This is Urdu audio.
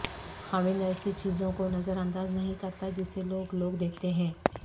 خداوند ایسے چیزوں کو نظر انداز نہیں کرتا جسے لوگ لوگ دیکھتے ہیں